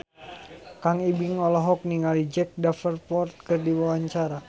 Kang Ibing olohok ningali Jack Davenport keur diwawancara